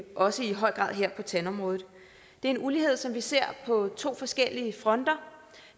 også i høj grad her på tandområdet det er en ulighed som vi ser på to forskellige fronter